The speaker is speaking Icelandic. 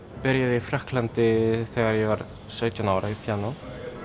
byrjaði í Frakklandi þegar ég var sautján ára í píanó